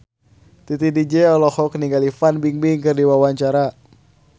Titi DJ olohok ningali Fan Bingbing keur diwawancara